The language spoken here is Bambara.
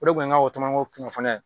O de tun ye n ka o tɔmɔnɔko kunnafoniya ye